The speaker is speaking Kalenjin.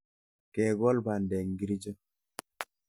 Kekol bandek ngircho.